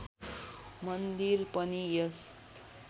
मन्दिर पनि यस